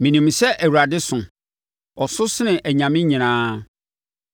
Menim sɛ Awurade so; Ɔso sene anyame nyinaa.